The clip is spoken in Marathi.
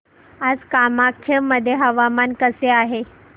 आज कामाख्या मध्ये हवामान कसे आहे